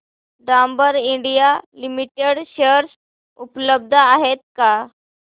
Dabur India limited share उपलब्ध आहेत का